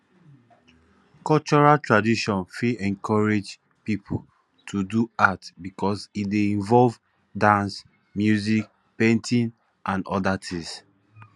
cultural tradition fit encourage pipo to do art because e dey involve dance music painting and oda things